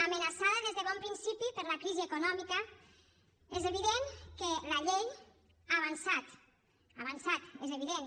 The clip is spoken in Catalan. amenaçada des de bon principi per la crisi econòmica és evident que la llei ha avançat ha avançat és evident